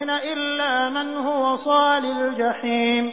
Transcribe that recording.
إِلَّا مَنْ هُوَ صَالِ الْجَحِيمِ